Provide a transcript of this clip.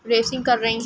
कर रहे हैं।